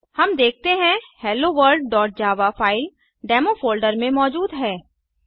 LS हम देखते हैं helloworldजावा फ़ाइल डेमो फोल्डर में मौजूद है